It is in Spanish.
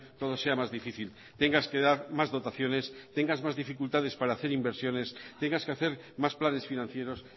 todo sea más difícil tengas que dar más dotaciones tengas más dificultades para hacer inversiones tengas que hacer más planes financieros